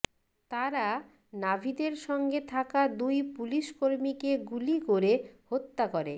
তারা নাভিদের সঙ্গে থাকা দুই পুলিশকর্মীকে গুলি করে হত্যা করে